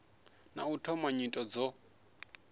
na u thoma nyito dzo